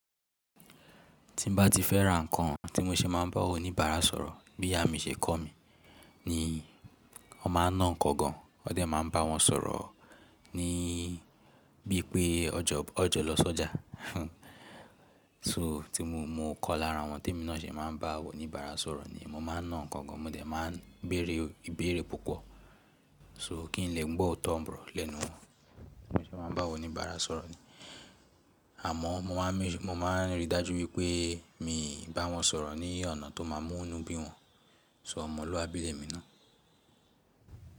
Ti mo bá ti fẹ́ra nǹkan tí mo ṣe máa ń bá oníbàárà sọ̀rọ̀ bí ìyá mi ṣe kọ̀ mí, ni wọ́n máa ń ná ǹkan gan. Wọ́n dẹ̀ máa ń bá wọn sọ̀rọ̀ ni bí i pé ọjọ́ lọ sọ́jà. So tí mo kọ́ lára àwọn témi náà ṣe máa ń bá oníbàárà sọ̀rọ̀ ni mo máa ń ná ǹkan gan, mo dẹ̀ máa ń béèrè ìbéèrè púpọ̀ so kí n lè gbọ́ ọ̀tọ̀ ọ̀nbọ lẹ́nu wọ́n. Bí mo ṣe máa ń bá oníbàárà sọ̀rọ̀ ni. Àmọ́ mo máa ń rí i dájú wípé mi bá wọn sọ̀rọ̀ ni ọ̀nà tó máa mú inú bí wọn. So ọmọlúwàbí lẹ́mi náà.